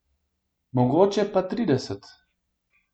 Mogoče pa trideset.